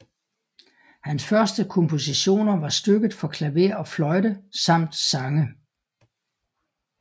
Hans første kompositioner var stykker for klaver og fløjte samt sange